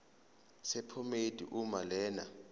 sephomedi uma lena